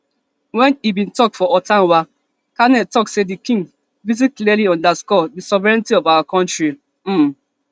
wen e bin tok for ottawa carney tok say di king visit clearly underscore di sovereignty of our kontri um